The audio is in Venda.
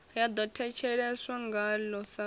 ya ḓo thetsheleswa ngaḽo sa